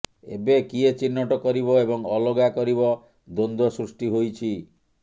ଏବେ କିଏ ଚିହ୍ନଟ କରିବ ଏବଂ ଅଲଗା କରିବ ଦ୍ବନ୍ଦ୍ବ ସୃଷ୍ଟି ହୋଇଛି